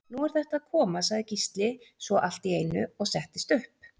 Nú er þetta að koma, sagði Gísli svo allt í einu og settist upp.